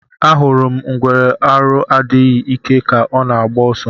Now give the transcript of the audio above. Ahụrụ m ngwere arụ adịghị ike ka ọ na agba oso